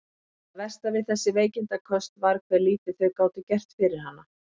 Það versta við þessi veikindaköst var hve lítið þau gátu gert fyrir hana.